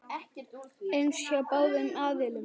eins hjá báðum aðilum.